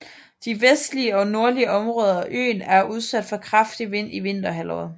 De vestlige og nordlige områder af øen er udsat for kraftig vind i vinterhalvåret